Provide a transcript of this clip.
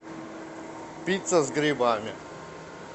пицца с грибами